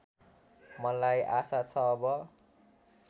मलाई आशा छ अब